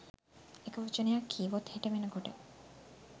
එක වචනයක් කීවොත් හෙට වෙන කොට